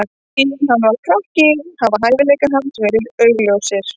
Síðan hann var krakki hafa hæfileikar hans verið augljósir.